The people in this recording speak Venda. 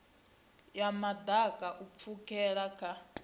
ya maḓaka u pfukela kha